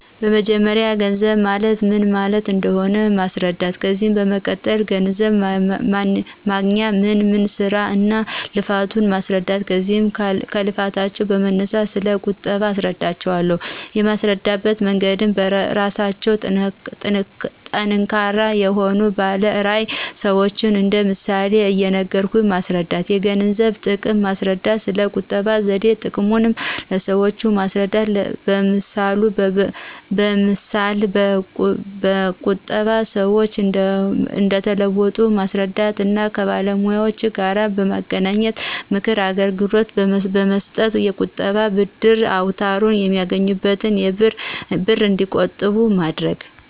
በመጀመርያ ገንዘብ ማለት ምን ማለት እንደሆነ ማስረዳት። ከዚያ በመቀጠል ገንዘብ ለማግኞት ምን ምን ስራ እና ልፋቱ ማስረዳት ከዚያም ከልፋታቸው በመነሳት ስለ ቁጠባ አስረዳቸው አለሁ። የማስረዳበት መንገድም በስራቸው ጠንካራ የሆኑ ባለ ራዕይ ሰዎችን እንደ ምሳሌ እየነገርኩ በማስረዳት። የገንዘብን ጥቅም ማስረዳት። ስለ ቁጠባ ዘዴ ጥቅሙን ለሰዎች በማስረዳት ለምሳ በቁጠባ ሰዎች እንደተለወጡ በማስረዳት እና ከባለሙያዎጋር በማገናኝት የምክር አገልግሎት በማሰጠት። የቁጣ ደብተር አውጠው የሚያገኙትን ብር እንዲቆጥቡ ማድረግ